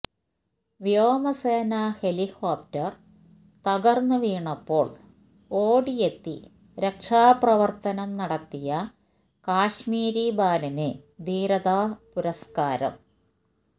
വ്യോമസേനാ ഹെലികോപ്റ്റർ തകർന്നു വീണപ്പോൾ ഓടിയെത്തി രക്ഷാപ്രവർത്തനം നടത്തിയ കാശ്മീരി ബാലന് ധീരതാ പുരസ്കാരം